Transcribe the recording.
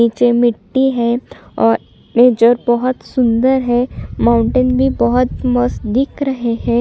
नीचे मिट्टी है और ये जो बहोत सुन्दर है माउंटेन भी बहोत मस्त दिख रहे है।